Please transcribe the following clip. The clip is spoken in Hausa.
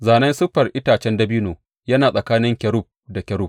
Zānen siffar itacen dabino yana a tsakanin kerub da kerub.